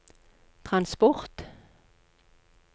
transport